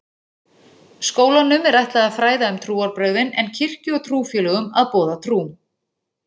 Skólanum er ætlað að fræða um trúarbrögðin en kirkju og trúfélögum að boða trú.